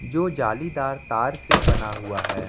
जो जालीदार तार से बना हुआ है।